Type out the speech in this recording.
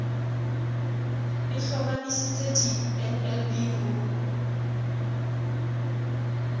e hlomamisitse di nlb ho